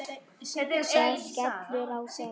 Það skellur á þögn.